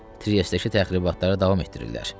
Triestdəki təxribatları davam etdirirlər.